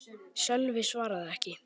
Sölvi svaraði ekki.